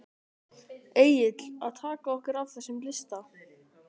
Egill: Að taka okkur af þessum lista?